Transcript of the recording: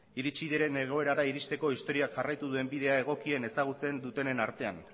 iritsi diren egoerara iristeko historiak jarraitu duen bidea egokien ezagutzen dutenen artean